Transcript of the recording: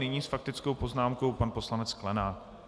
Nyní s faktickou poznámkou pan poslanec Sklenák.